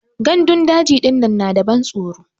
Gandun daji dinnan na da ban tsoro.